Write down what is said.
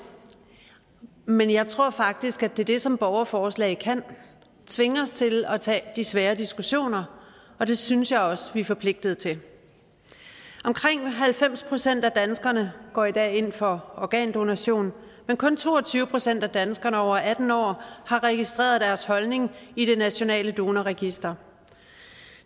men jeg tror faktisk at det er det som borgerforslag kan nemlig tvinge os til at tage de svære diskussioner og det synes jeg også at vi er forpligtet til omkring halvfems procent af danskerne går i dag ind for organdonation men kun to og tyve procent af danskerne over atten år har registreret deres holdning i det nationale donorregister